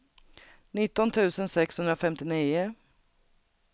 nitton tusen sexhundrafemtionio